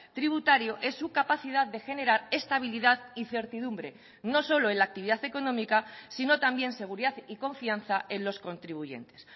tributario es su capacidad de generar estabilidad y certidumbre no solo en la actividad económica sino también seguridad y confianza en los contribuyentes